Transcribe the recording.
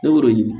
Ne b'o de ɲini